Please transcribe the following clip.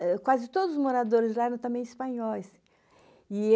Eh quase todos os moradores lá eram também espanhóis. E